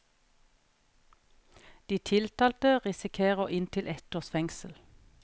De tiltalte risikerer inntil et års fengsel.